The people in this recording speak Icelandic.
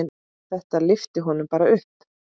Þetta lyfti honum bara upp.